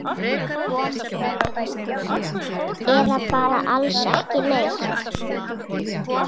Eða bara alls ekki neitt?